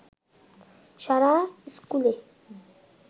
সারা ইস্কুলে